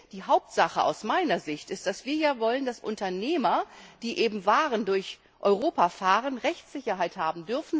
Die Hauptsache aus meiner Sicht ist, dass wir wollen, dass Unternehmer, die Waren durch Europa fahren, Rechtssicherheit haben.